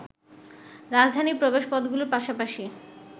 রাজধানীর প্রবেশপথগুলোর পাশাপাশি